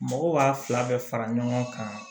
Mɔgɔw b'a fila bɛɛ fara ɲɔgɔn kan